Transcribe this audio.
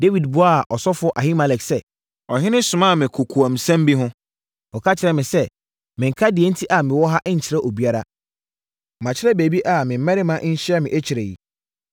Dawid buaa ɔsɔfoɔ Ahimelek sɛ, “Ɔhene somaa me kokoamsɛm bi ho. Ɔka kyerɛɛ me sɛ, mennka deɛ enti a mewɔ ha nkyerɛ obiara. Makyerɛ baabi a me mmarima nhyia me akyire yi.